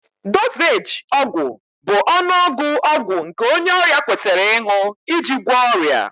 Dozééji ọgwụ bụ ọnụọgụ ọgwụ nke onye ọrịa kwesịrị ịṅụ iji gwọọ ọrịa